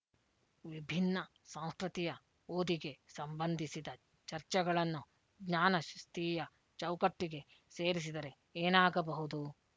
ವಿಭಿನ್ನ ಸಾಂಸ್ಕೃತಿಯ ಓದಿಗೆ ಸಂಬಂಧಿಸಿದ ಚರ್ಚೆಗಳನ್ನು ಜ್ಞಾನಶಿಸ್ತೀಯ ಚೌಕಟ್ಟಿಗೆ ಸೇರಿಸಿದರೆ ಏನಾಗಬಹುದು